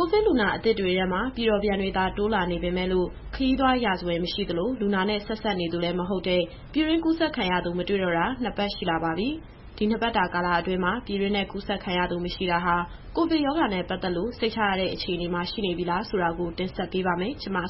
ကိုဗစ်လူနာအသစ်တွေထဲမှာ ပြည်တော်ပြန်တွေသာ တိုးလာနေပေမယ့်လို့ ခရီးသွားရာဇဝင်မရှိသလို၊ လူနာနဲ့ဆက်စပ်နေသူလည်းမဟုတ်တဲ့ ပြည်တွင်းကူးစက်ခံရသူမတွေ့တော့တာ နှစ်ပတ်ရှိလာပါပြီ။ ဒီနှစ်ပတ်တာကာလအတွင်းမှာ ပြည်တွင်းထဲကူးစက်ခံရသူမရှိတာဟာ ကိုဗစ်ရောဂါနဲ့ပတ်သက်လို့ စိတ်ချရတဲ့အခြေအနေမှာရှိနေပြီလားဆိုတာကို မစုစု တင်ဆက်ပေးပါမယ်။ ကျန်းမာ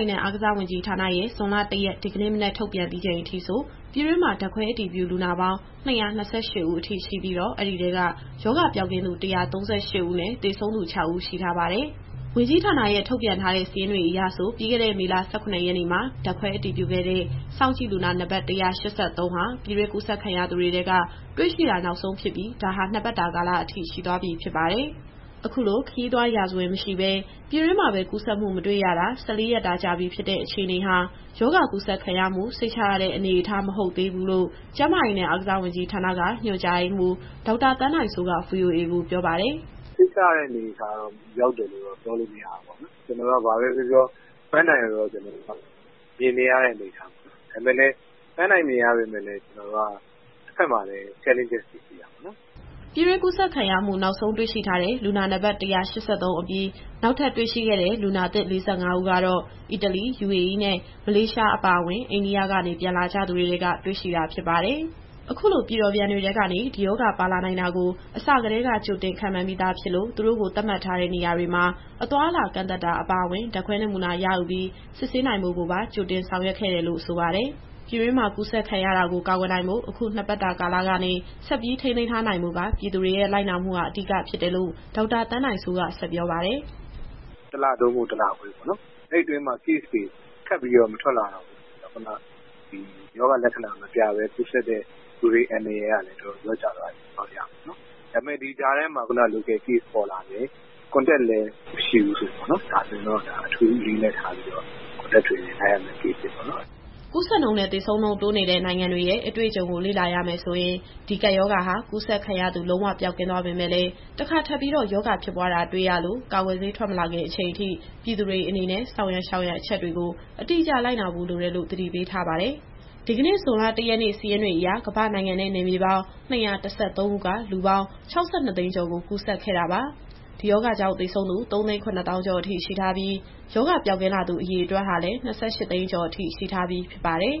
ရေးနဲ့ အားကစားဝန်ကြီးဌာနရဲ့ ဇွန်လ ၁ရက် ဒီကနေ့မနက်ထုတ်ပြန်ပြီးချိန်အထိဆို ပြည်တွင်းမှာဓာတ်ခွဲအတည်ပြုလူနာပေါင်း ၂၂၈ဦးရှိပြီးတော့ အဲဒီထဲက ရောဂါပျောက်ကင်းသူ ၁၃၈ဦးနဲ့ သေဆုံးသူ ၆ဦးရှိထားပါတယ်။ ဝန်ကြီးဌာနရဲ့ထုတ်ပြန်ထားတဲ့စာရင်းတွေအရဆို ပြီးခဲ့တဲ့မေလ ၁၇ရက်နေ့မှာ ဓာတ်ခွဲအတည်ပြုခဲ့တဲ့ စောင့်ကြည့်လူနာ နံပတ် ၁၈၃ ဟာ ပြည်တွင်းကူးစက်ခံရသူတွေထဲက တွေ့ရှိတာနောက်ဆုံးဖြစ်ပြီး ဒါဟာ ၂ပတ်တာကာလအထိ ရှိသွားပြီဖြစ်ပါတယ်။ အခုလို ခရီးသွားရာဇဝင်မရှိပဲ ပြည်တွင်းမှာပဲ ကူးစက်မှု မတွေ့ရတာ ၁၄ရက်တာကြာပြီဖြစ်တဲ့ အခြေအနေဟာ ရောဂါကူးစက်ခံရမှုစိတ်ချရတဲ့အနေအထား မဟုတ်သေးဘူးလို့ ကျန်းမာရေးနဲ့အားကစားဝန်ကြီးဌာနက ညွှန်ကြားရေးမှူး ဒေါက်တာသန်းနိုင်စိုးကVOA ကိုပြောပါတယ်။ “စိတ်ချရတဲ့အနေအထား ရောက်ပြီလို့တော့ ပြောလို့မရဘူးပေါ့နော်။ ဘာပဲပြောပြော ပန်းတိုင်ကိုတော့မြင်နေရတဲ့ အနေအထားပေါ့နော်။ ဒါပေမယ့်လည်း ပန်းတိုင်မြင်ရပေမယ့်လည်း ကျနော်တို့က တဘက်မှာလည်း Challenges တွေရှိတာပေါ့။” ပြည်တွင်းကူးစက်ခံရမှု နောက်ဆုံးတွေ့ရှိထားတဲ့ လူနာနံပတ် ၁၈၃အပြီး နောက်ထပ်တွေ့ရှိခဲ့တဲ့လူနာသစ် ၄၅ဦးကတော့ အီတလီ၊ ယူအေအီးနဲ့ မလေးရှားအပါအဝင် အိန္ဒိယကနေ ပြန်လာကြသူတွေထဲက တွေ့ရှိတာပဲဖြစ်ပါတယ်။ အခုလိုပြည်တော်ပြန်တွေထဲကနေ ဒီရောဂါပါလာနိုင်တာကို အစကတည်းက ကြိုတင်ခန့်မှန်းပြီးသားဖြစ်လို့ သူတို့ကိုသတ်မှတ်ထားတဲ့နေရာတွေမှာ အသွားအလာကန့်သတ်တာအပါအဝင်၊ ဓာတ်ခွဲနမူနာရယူပြီး စစ်ဆေးနိုင်ဖို့ကိုပါ ကြိုတင်ဆောင်ရွက်ထားခဲ့တယ်လို့ ဆိုပါတယ်။ ပြည်တွင်းမှာ ကူးစက်ခံရတာကို ကာကွယ်နိုင်ဖို့ အခု ၂ပတ်တာကာလကနေ ဆက်ပြီးထိန်းသိမ်းထားနိုင်ဖို့က ပြည်သူတွေရဲ့ လိုက်နာမှုဟာ အဓိကဖြစ်တယ်လို့ ဒေါက်တာသန်းနိုင်စိုးက ဆက်ပြောပါတယ်။ “တလ သို့မဟုတ် တလခွဲပေါ့နော်။ အဲဒီအတွင်းမှာ Caseတွေ ထပ်မထွက်လာတော့ဘူးဆိုရင်တော့ ရောဂါလက္ခဏာမပြဘဲ ကူးစက်တဲ့သူတွေအန္တရာယ်ကလည်း လျှော့ကျသွားပြီလို့ ပြောလို့ရမယ်ပေါ့နော်။ ဒါပေမယ့် ဒီကြားထဲမှာ Local Case ပေါ်လာမယ်။ Contact လည်းမရှိဘူးဆိုရင်တော့ ဒါကိုအထူးအလေးအနက်ထားပြီးတော့ Contact Tracing လိုက်ရမယ့် Case တွေပေါ့နော်။” ကူးစက်နှုန်းနဲ့ သေဆုံးနှုန်းတိုးနေတဲ့ နိုင်ငံတွေရဲ့အတွေ့အကြုံကိုလေ့လာရမယ်ဆိုရင် ဒီကပ်ရောဂါဟာ ကူးစက်ခံရသူ လုံးဝပျောက်ကင်းသွားပေမယ့်လည်း တခါပြန်ပြီးရောဂါဖြစ်ပွားတာ တွေ့ရလို့ ကာကွယ်ဆေး ထွက်မလာခင်အချိန်ထိ ပြည်သူတွေအနေနဲ့ ဆောင်ရန်ရှောင်ရန်အချက်တွေကို အတိအကျ လိုက်နာဖို့လိုတယ်လို့ သတိပေးထားပါတယ်။ ဒီကနေ့ ဇွန်လ၁ရက်နေ့ စာရင်းတွေအရ ကမ္ဘာ့နိုင်ငံနဲ့ နယ်မြေပေါင်း ၂၁၃ခုက လူပေါင်း ၆၂သိန်းကျော်ကို ကူးစက်ခဲ့တာပါ။ ဒီရောဂါကြောင့် သေဆုံးသူ ၃၇၀,၀၀၀ ကျော်အထိရှိထားပြီး ရောဂါပျောက်ကင်းလာသူ အရေအတွက်ဟာလည်း ၂၈သိန်းကျော်အထိ ရှိထားပြီးဖြစ်ပါတယ်။